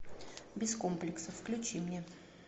без комплексов включи мне